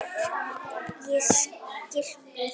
Ég skyrpti því.